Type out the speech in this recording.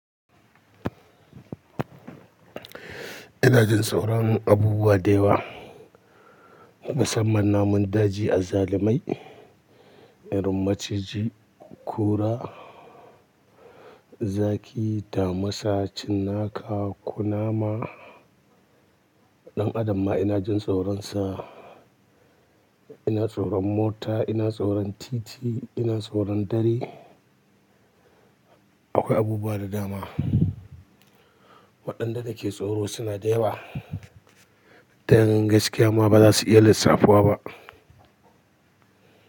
Ina jin tsoron abubuwa da yawa, musamman namun daji azzalimai, irin maciji, kura, zaki, damisa, cinnaka kunama. Ɗan Adam ma ina jin tsoronsa, ina tsoron mota, ina tsoron titi, ina tsoron dare. Akwai abubuwa da dama waɗanda nake tsoro suna da yawa. Domin gaskiya ma ba za su iya lissafuwa ba.